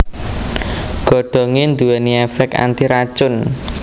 Godhongé nduwèni èfèk antiracun